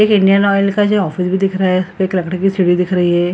एक Indian Oil का जो ऑफिस भी दिख रहा है एक लकड़ी की सीढ़ी दिख रही है।